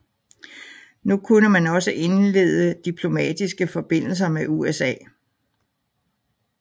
Nu kunne man også indlede diplomatiske forbindelser med USA